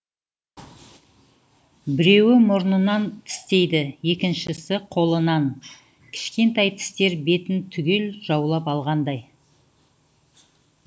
біреуі мұрнынан тістейді екіншісі қолынан кішкентай тістер бетін түгел жаулап алғандай